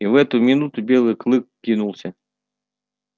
и в эту минуту белый клык кинулся